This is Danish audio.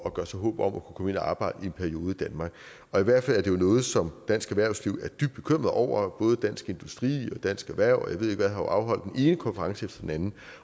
at gøre sig håb om at kunne og arbejde i en periode i danmark og i hvert fald er det jo noget som dansk erhvervsliv er dybt bekymret over og både dansk industri og dansk erhverv og jeg ved ikke hvad har afholdt den ene konference efter den anden